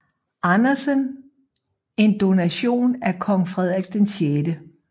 Andersen en donation af kong Frederik 6